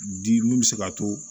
Di mun bɛ se ka to